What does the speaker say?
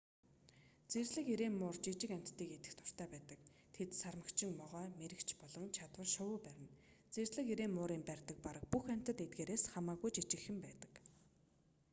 зэрлэг эрээн муур жижиг амьтдыг идэх дуртай байдаг тэд сармагчин могой мэрэгч болон чадвал шувуу барина зэрлэг эрээн муурын барьдаг бараг бүх амьтад эдгээрээс хамаагүй жижигхэн байдаг